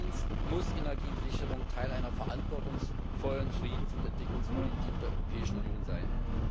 Zweitens muss Energiesicherung Teil einer verantwortungsvollen Friedens und Entwicklungspolitik der Europäischen Union sein.